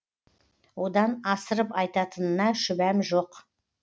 одан асырып айтатынына шүбәм жоқ